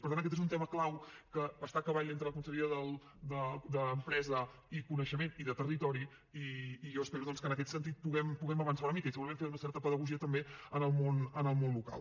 per tant aquest és un tema clau que està a cavall entre la conselleria d’empresa i coneixement i de territori i jo espero doncs que en aquest sentit puguem avançar una mica i segurament fer una certa pedagogia també en el món local